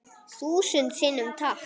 Þúsund sinnum takk.